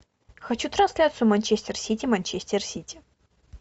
хочу трансляцию манчестер сити манчестер сити